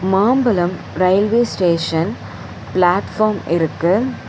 மாம்பழம் railway station platform இருக்கு.